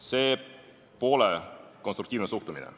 See pole konstruktiivne suhtumine.